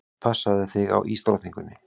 Passaðu þig á ísdrottningunni.